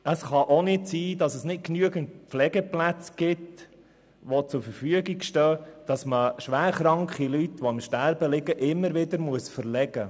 Es kann auch nicht sein, dass es nicht genügend Pflegeplätze gibt, sodass schwer kranke Leute, die im Sterben liegen, immer wieder verlegt werden müssen.